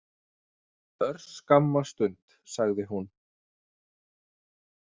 Örskamma stund, sagði hún.